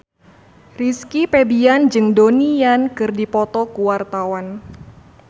Rizky Febian jeung Donnie Yan keur dipoto ku wartawan